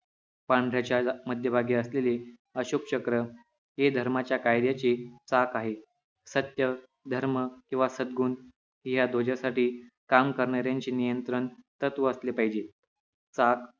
पांढऱ्याच्या याला मध्यभागी असलेले अशोक चक्र हे धर्माच्या कायद्याचे चाक आहे सत्य धर्म किंव्हा सद्गुण ह्या ध्वजासाठी काम करणाऱ्याची नियंत्रण तत्व असले पाहिजे चाक